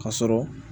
Ka sɔrɔ